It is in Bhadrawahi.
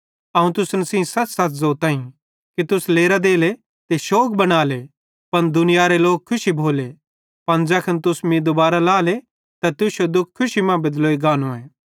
अवं तुसन सेइं सच़सच़ ज़ोताईं कि तुस लेरां देले ते शोग बनाले पन दुनियारे लोक खुशी भोले पन ज़ैखन तुस मीं दूबारां लाएले त तुश्शो दुःख खुशी मां बेदलोई गानोए